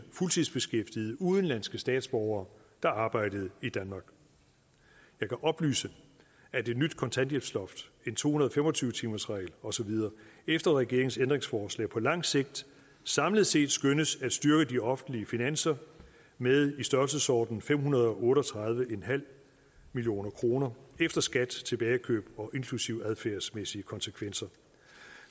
fuldtidsbeskæftigede udenlandske statsborgere der arbejdede i danmark jeg kan oplyse at et nyt kontanthjælpsloft en to hundrede og fem og tyve timersregel og så videre efter regeringens ændringsforslag på lang sigt samlet set skønnes at styrke de offentlige finanser med i størrelsesordenen fem hundrede og otte og tredive million kroner efter skat og tilbageløb og inklusive adfærdsmæssige konsekvenser